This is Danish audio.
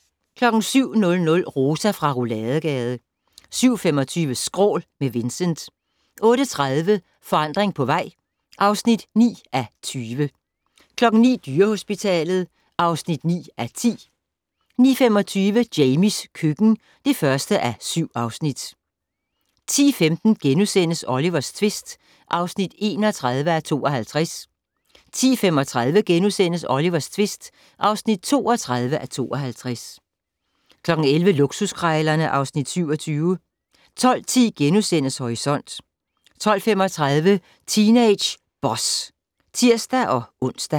07:00: Rosa fra Rouladegade 07:25: Skrål - med Vincent 08:30: Forandring på vej (9:20) 09:00: Dyrehospitalet (9:10) 09:25: Jamies køkken (1:7) 10:15: Olivers tvist (31:52)* 10:35: Olivers tvist (32:52)* 11:00: Luksuskrejlerne (Afs. 27) 12:10: Horisont * 12:35: Teenage Boss (tir-ons)